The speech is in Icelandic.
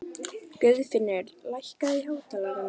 Guðfinnur, lækkaðu í hátalaranum.